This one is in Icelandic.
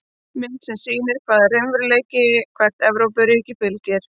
Mynd sem sýnir hvaða regluverki hvert Evrópuríki fylgir.